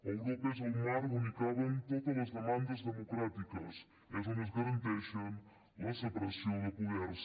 europa és el marc on caben totes les demandes democràtiques és on es garanteix la separació de poders